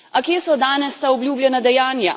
A kje so danes ta obljubljena dejanja?